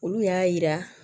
Olu y'a yira